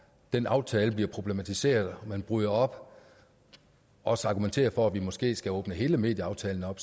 den aftale bliver problematiseret og man bryder op og også argumenterer for at vi måske skal åbne hele medieaftalen op